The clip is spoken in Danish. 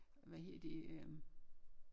Hvad hedder det øh